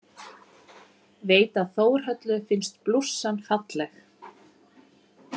Veit að Þórhöllu finnst blússan falleg.